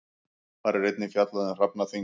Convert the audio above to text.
Þar er einnig fjallað um hrafnaþing.